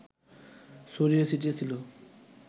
ছড়িয়ে ছিটিয়ে ছিল